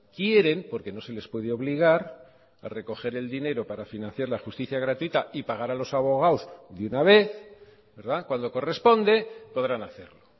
quieren porque no se les puede obligar a recoger el dinero para financiar la justicia gratuita y pagar a los abogados de una vez cuando corresponde podrán hacerlo